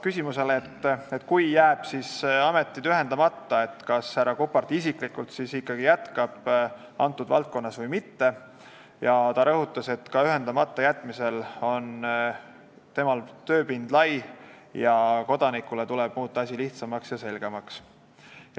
Küsimusele, et kui ametid jäävad ühendamata, kas siis härra Kuppart isiklikult ikkagi jätkab selles valdkonnas või mitte, vastas ta, et ka ühendamata jätmise korral on tema tööpõld lai, kodanikele tuleb muuta asi lihtsamaks ja selgemaks.